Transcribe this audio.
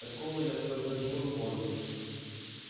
такого я сколько живу не помню